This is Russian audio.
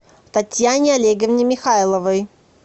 татьяне олеговне михайловой